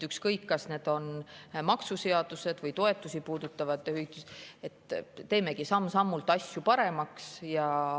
Ükskõik, kas see puudutab maksuseadusi või toetusi, teemegi samm-sammult asju paremaks.